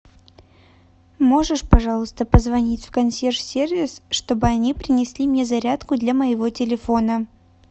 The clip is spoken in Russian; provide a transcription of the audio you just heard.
можешь пожалуйста позвонить в консьерж сервис чтобы они принесли мне зарядку для моего телефона